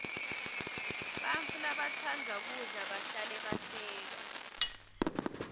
bantfu labatsandza kudla bahlale bahleka